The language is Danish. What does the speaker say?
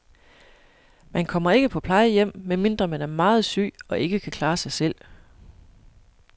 Man kommer ikke på plejehjem, medmindre man er meget syg og ikke kan klare sig selv.